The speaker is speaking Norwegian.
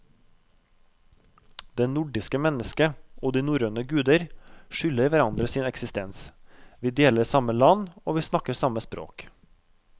Det nordiske mennesket og de norrøne guder skylder hverandre sin eksistens, vi deler samme land, vi snakker samme språk.